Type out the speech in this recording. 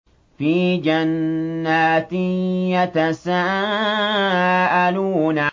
فِي جَنَّاتٍ يَتَسَاءَلُونَ